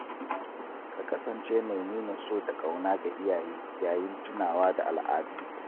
Ka kasance mai nuna so da ƙauna ga iyaye yayin tunawa da al’adu.